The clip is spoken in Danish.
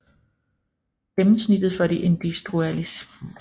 Gennemsnittet for de industrialiserede lande er 20